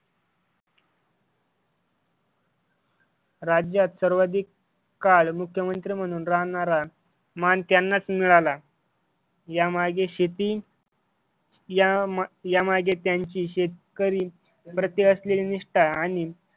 राज्यात सर्वाधिक काळ मुख्यमंत्री म्हणून राहणारा मान त्यांनाच मिळाला, यामागे शेती यामागे त्यांची शेतकरी प्रति असलेली निष्ठा आणि